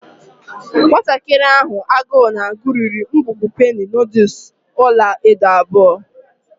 Nwatakịrị nwanyị ahụ agụụ na-agụ riri ngwugwu penny noodles ọla edo abụọ.